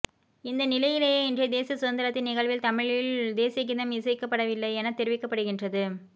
இந்த நிலையிலேயே இன்றைய தேசிய சுதந்திரத்தின நிகழ்வில் தமிழில் தேசியகீதம் இசைக்கப்படவில்லையென தெரிவிக்கப்படுகின்றது